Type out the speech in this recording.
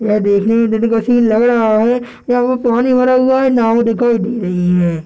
यह देखने में दिन का सीन लग रहा है यहाँ पे पानी भरा हुआ है नाव दिखाई दे रही है।